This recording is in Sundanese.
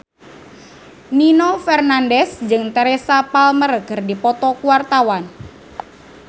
Nino Fernandez jeung Teresa Palmer keur dipoto ku wartawan